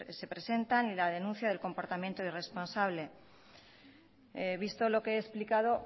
se presentan y la denuncia del comportamiento irresponsable visto lo que he explicado